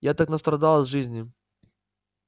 я так настрадалась в жизни